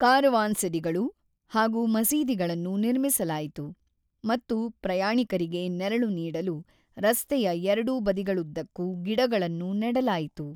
ಕಾರವಾನ್ಸೆರಿಗಳು ಹಾಗೂ ಮಸೀದಿಗಳನ್ನು ನಿರ್ಮಿಸಲಾಯಿತು ಮತ್ತು ಪ್ರಯಾಣಿಕರಿಗೆ ನೆರಳು ನೀಡಲು ರಸ್ತೆಯ ಎರಡೂ ಬದಿಗಳುದ್ದಕ್ಕೂ ಗಿಡಗಳನ್ನು ನೆಡಲಾಯಿತು.